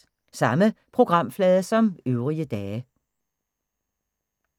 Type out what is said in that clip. Samme programflade som øvrige dage